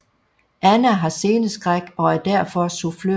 Anna har sceneskræk og er derfor sufflør